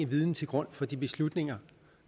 viden til grund for de beslutninger